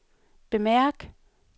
bemærk